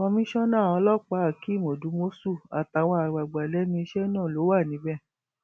komisanna ọlọpàá hakeem odúmọṣù àtàwọn àgbàgbà lẹnu iṣẹ náà ló wà níbẹ